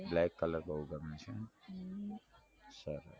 black colour બઉ ગમે છે એમ હમ સરસ